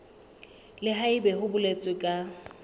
le haebe ho boletswe ka